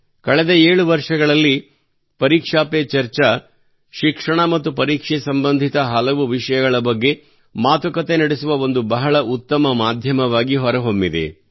ಕಳೆದ 7 ವರ್ಷಗಳಲ್ಲಿ ಪರೀಕ್ಷಾ ಪೇ ಚರ್ಚಾ ಶಿಕ್ಷಣ ಮತ್ತು ಪರೀಕ್ಷೆ ಸಂಬಂಧಿತ ಹಲವು ವಿಷಯಗಳ ಬಗ್ಗೆ ಮಾತುಕತೆ ನಡೆಸುವ ಒಂದು ಬಹಳ ಉತ್ತಮ ಮಾಧ್ಯಮವಾಗಿ ಹೊರಹೊಮ್ಮಿದೆ